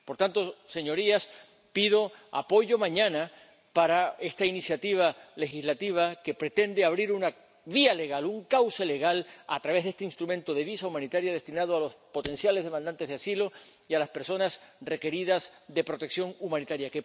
la fecha. Por tanto, señorías, pido apoyo mañana para esta iniciativa legislativa que pretende abrir una vía legal, un cauce legal, a través de este instrumento de visado humanitario destinado a los potenciales demandantes de asilo y a las personas requeridas de protección humanitaria.